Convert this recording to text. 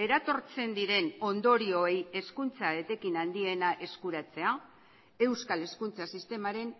eratortzen diren ondorioei hezkuntza etekin handiena eskuratzea euskal hezkuntza sistemaren